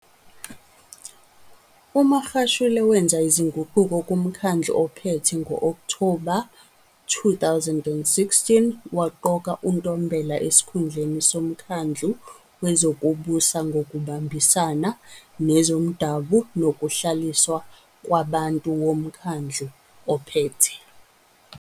UMagashule wenze izinguquko kuMkhandlu oPhethe ngo-Okthoba 2016 waqoka uNtombela esikhundleni somkhandlu wezokuBusa ngokuBambisana nezoMdabu nokuHlaliswa kwaBantu woMkhandlu oPhethe.